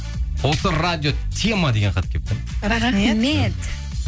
осы радио тема деген хат келіпті